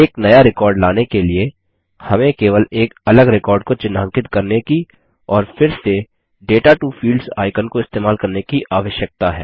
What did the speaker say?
एक नया रिकॉर्ड लाने के लिए हमें केवल एक अलग रिकॉर्ड को चिह्नांकित करने की और फिर से दाता टो फील्ड्स आइकन को इस्तेमाल करने की आवश्यकता है